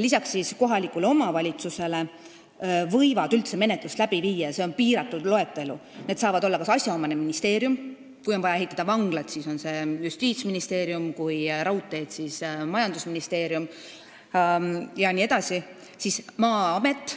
Lisaks kohalikule omavalitsusele võivad üldse menetlust läbi viia kas asjaomane ministeerium , Maa-amet,